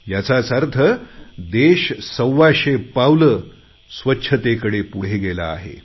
याचाच अर्थ देश सव्वाशे पावले स्वच्छतेकडे पुढे गेला आहे